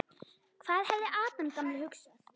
Hvað hefði Adam gamli hugsað?